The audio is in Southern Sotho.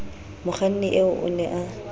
mokganni eo o ne a